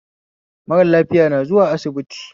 Mara lafiya na zuwa asibiti